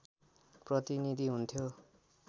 प्रतिनीधि हुन्थ्यो